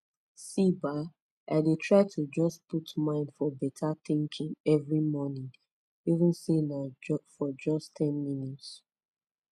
see bah i de try to jus put mind for beta tinking everi mornin even say nah for jus ten mins